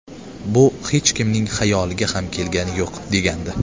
Bu hech kimning xayoliga ham kelgani yo‘q”, degandi.